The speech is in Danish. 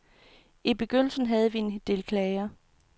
I begyndelsen havde vi en del klager.